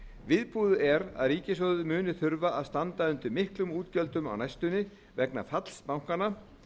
viðbúið er að ríkissjóður muni þurfa að standa undir miklum útgjöldum á næstunni vegna falls bankanna